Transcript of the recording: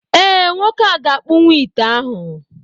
ee, Nwoke a ga-akpụwu ite ahụ